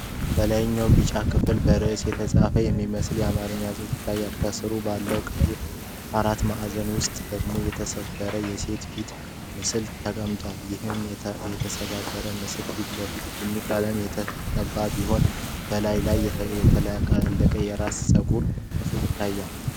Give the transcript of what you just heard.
በላይኛው ቢጫ ክፍል በእርሳስ የተጻፈ የሚመስል የአማርኛ ጽሑፍ ይታያል። ከስሩ ባለው ቀይ አራት ማዕዘን ውስጥ ደግሞ የተሰባበረ የሴት ፊት ምስል ተቀምጧል። ይህ የተሰባበረ ምስል ፊቱ ላይ ቡኒ ቀለም የተቀባ ሲሆን፣ በላዩ ላይ ያለቀሰው የራስ ጸጉር ክፍል ይታያል።